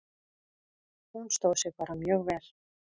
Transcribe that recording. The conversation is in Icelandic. Hún stóð sig bara mjög vel.